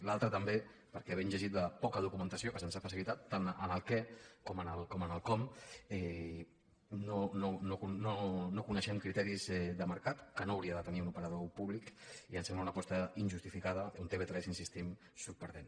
l’altre també perquè havent llegit la poca documentació que se’ns ha facilitat tant en el què com en el com no coneixem criteris de mercat que no hauria de tenir un operador públic i ens sembla una aposta injustificada on tv3 hi insistim surt perdent